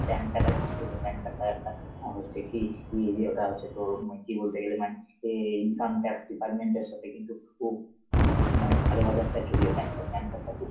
PAN card আছে, তোর কাছে PAN card টা একটা অ হচ্ছে কি দিয়ে দিয়ে~ ওটা হচ্ছে তোর মানে কি বলতে গেলে মানে এ income tax department এর সাথে কিন্তু খুব~ খুব মানে ভালোভাবে একটা জড়িয়ে PAN card, PAN card টা খুব